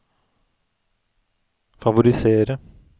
favorisere